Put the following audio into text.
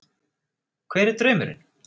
Hver er draumurinn?